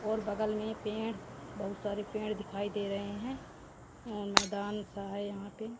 और बगल में पेड़ बहुत सारे पेड़ दिखाई दे रहे हैं मैदान सा है यहां पे--